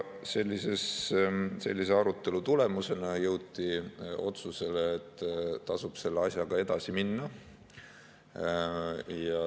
Sellise arutelu tulemusena jõuti otsusele, et tasub selle asjaga edasi minna.